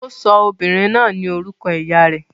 Ó sọ ọmọbìnrin náà ní orúkọ ìyá rẹ̀.